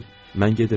Mən gedirdim.